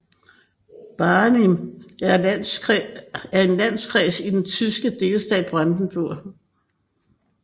Barnim er en landkreis i den tyske delstat Brandenburg